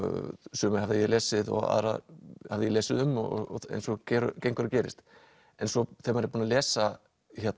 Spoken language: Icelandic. suma hafði ég lesið og aðra hafði ég lesið um eins og gengur og gerist en svo þegar maður er búinn að lesa